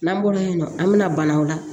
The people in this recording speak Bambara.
N'an bɔra yen nɔ an bɛna banaw la